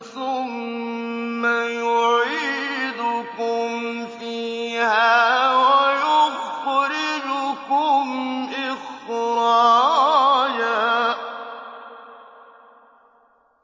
ثُمَّ يُعِيدُكُمْ فِيهَا وَيُخْرِجُكُمْ إِخْرَاجًا